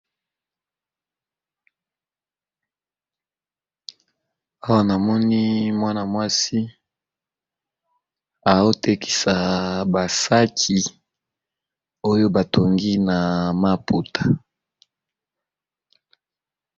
Awa namoni mwana mwasi aotekisa basaki oyo batongi na maputa.